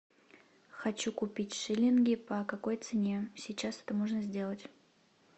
хочу купить шиллинги по какой цене сейчас это можно сделать